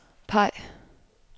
peg